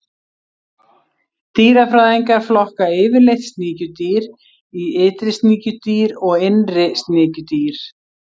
Dýrafræðingar flokka yfirleitt sníkjudýr í ytri sníkjudýr og innri sníkjudýr.